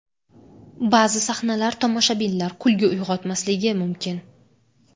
Ba’zi sahnalar tomoshabinlar kulgi uyg‘otmasligi mumkin.